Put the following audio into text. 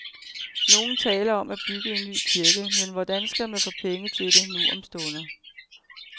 Nogle taler om at bygge en ny kirke, men hvordan skal man få penge til det nu om stunder?